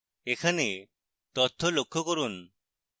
এখানে তথ্য লক্ষ্য করুন